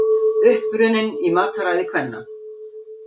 Uppruninn í mataræði kvenna